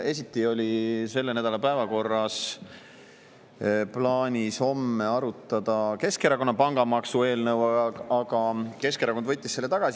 Esiti oli selle nädala päevakorras ja plaanis homme arutada Keskerakonna pangamaksueelnõu, aga Keskerakond võttis selle.